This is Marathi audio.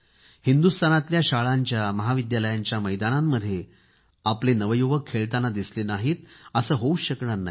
हिंदुस्तानातल्या शाळांच्या महाविद्यालयांच्या मैदानांमध्ये आपले नवयुवक खेळताना दिसले नाहीत असे होऊच शकणार नाही